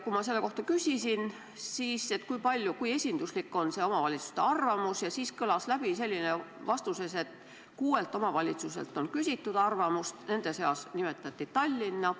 Kui ma selle kohta küsisin, kui esinduslik on omavalitsuste arvamus, siis kõlas selline vastus, et kuuelt omavalitsuselt on küsitud arvamust, nende seas nimetati Tallinna.